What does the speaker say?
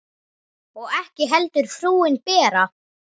Og ekki heldur frúin Bera.